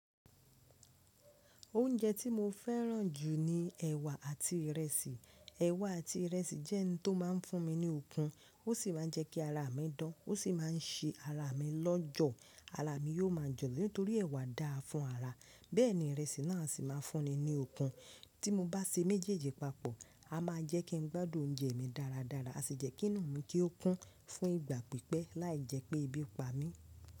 Oúnjẹ tí mo fẹ́ràn jù ni ẹ̀wà àti ìrẹsì. Ẹ̀wà àti ìrẹsì jẹ́ ohun tó má a ń fún mi ní okun, ó sì máa ń jẹ́ kí ara mi dán, ó sì máà ń ṣe ara mi lọ́jọ̀. Ara mi yóò máa jọ̀ nítorí ẹ̀wà dáa fún ara, bẹ́ẹ̀ ni ìrẹsì náà sì máa ń fún mi ní okun. Tí mo bá se méjèèjì papọ̀, a máa jẹ́ kí n gbádùn oúnjẹ mi dáradára, a sì jẹ́kí inú mi kí ó kún fún ìgbà pípẹ́, láì jẹ́ pé ebi pa mí.